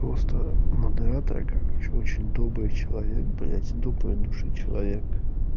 просто модератора как вообще очень добрый человек блять доброй души человек